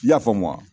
I y'a faamu wa